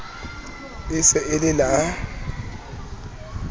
e se e le la